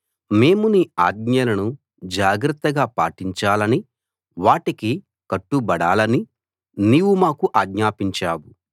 మేము నీ ఆజ్ఞలను జాగ్రత్తగా పాటించాలని వాటికి కట్టుబడాలని నీవు మాకు ఆజ్ఞాపించావు